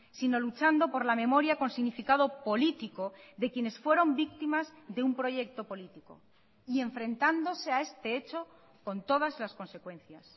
sino luchando por la memoria con significado político de quienes fueron víctimas de un proyecto político y enfrentándose a este hecho con todas las consecuencias